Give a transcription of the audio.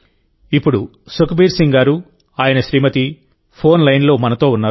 ఇప్పుడు సుఖ్బీర్ సింగ్ గారు ఆయన శ్రీమతి ఫోన్ లైన్లో మనతో ఉన్నారు